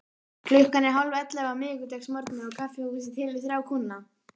Klukkan er hálfellefu á miðvikudagsmorgni og kaffihúsið telur þrjá kúnna.